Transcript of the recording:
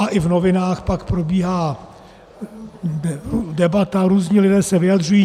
A i v novinách pak probíhá debata, různí lidé se vyjadřují.